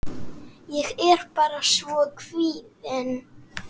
Ég er bara svo kvíðin.